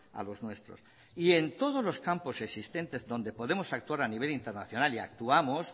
a los nuestros y en todos los campos existentes donde podemos actuar a nivel internacional y actuamos